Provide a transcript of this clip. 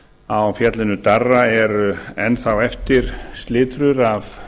á fjallinu darra eru enn þá eftir slitrur af